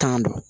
Tan don